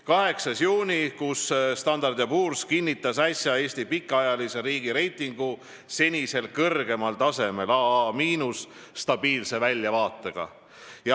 8. juunil kinnitas Standard & Poor's Eesti pikaajalise riigireitingu senisel kõrgemal tasemel AA– stabiilse väljavaatega.